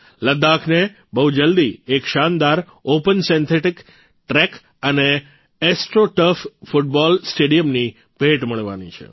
લદ્દાખને બહુ જલ્દી એક શાનદાર ઓપન સિન્થેટીક ટ્રેક અને એસ્ટ્રો ટર્ફ ફૂટબોલ સ્ટેડિયમની ભેટ મળવાની છે